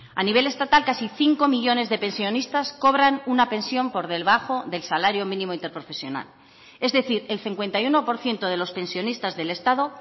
a nivel estatal casi cinco millónes de pensionistas cobran una pensión por debajo del salario mínimo interprofesional es decir el cincuenta y uno por ciento de los pensionistas del estado